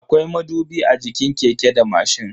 Akwai madubi a jikin keke da mashin.